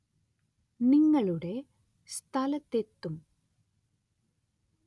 നിങ്ങളുടെ സ്ഥലത്തെത്തും